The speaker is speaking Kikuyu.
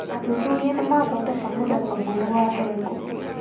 Athuthuria nĩmaathondeka mũthemba mwerũ wa ndengũ